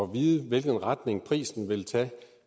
vide hvilken retning prisen vil tage